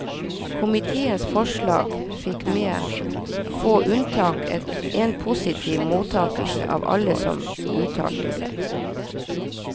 Komiteens forslag fikk med få unntak en positiv mottakelse av alle som uttalte seg.